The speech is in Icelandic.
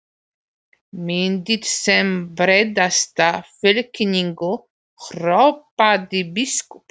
Myndið sem breiðasta fylkingu, hrópaði biskup.